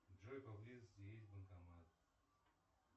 джой по близости есть банкомат